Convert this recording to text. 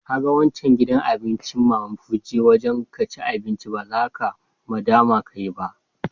Ka gan wancan gidan abincin mama put, je wajen ka ci abinci. Ba za ka nadama ka yi ba.